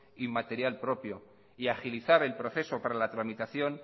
y material propio y agilizar el proceso para la tramitación